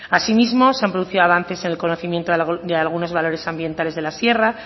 asimismo se han producido avances en el conocimiento de algunos valores ambientales de la sierra